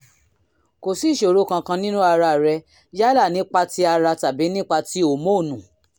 kò sí ìṣòro kankan nínú ara rẹ yálà nípa ti ara tàbí nípa ti hòmónù